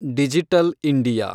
digital India